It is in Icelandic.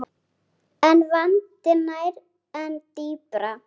En vandinn nær enn dýpra.